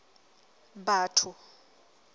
batho